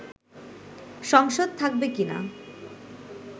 সংসদ থাকবে কিনা